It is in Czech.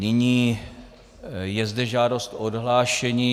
Nyní je zde žádost o odhlášení.